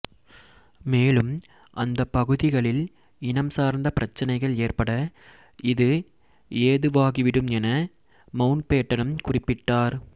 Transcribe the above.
மேலும் அந்தப் பகுதிகளில் இனம் சார்ந்த பிரச்சினைகள் ஏற்பட இது ஏதுவாக்கிவிடும் என மவுண்ட்பேட்டனும் குறிப்பிட்டார்